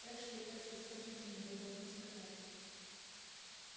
эшли эшли скажите мне вы должны сказать